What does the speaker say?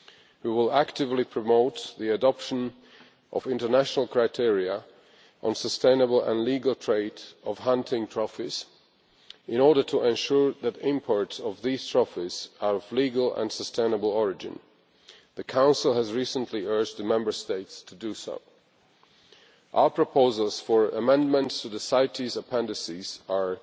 We will actively promote the adoption of international criteria on the sustainable and illegal trade of hunting trophies in order to ensure that imports of these trophies are of legal and sustainable origin. The Council has recently urged the Member States to do so. Our proposals for amendments to the CITES appendices